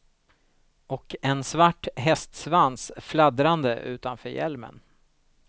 Och en svart hästsvans fladdrande utanför hjälmen.